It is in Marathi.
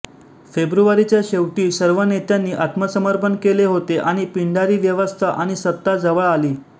फेब्रुवारीच्या शेवटी सर्व नेत्यांनी आत्मसमर्पण केले होते आणि पिंडारी व्यवस्था आणि सत्ता जवळ आली